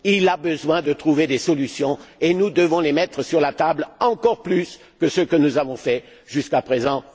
Il a besoin de trouver des solutions et nous devons les mettre sur la table, encore plus que ce que nous avons fait jusqu'à présent.